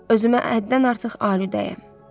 Özümə həddən artıq aliüdəyəm.